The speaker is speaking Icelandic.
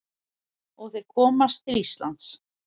Og þeir komast til Íslands.